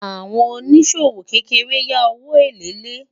àwọn òní ṣòwò kékèké yá òwò èlé lè